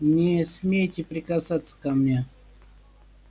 не смейте прикасаться ко мне